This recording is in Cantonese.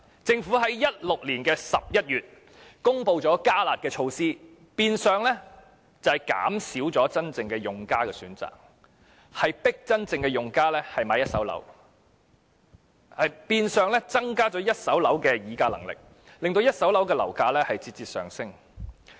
政府在2016年11月公布"加辣"措施，變相減少真正用家的選擇，迫使他們購買一手住宅物業，亦變相增加了一手住宅物業發展商的議價能力，令一手住宅物業的樓價節節上升。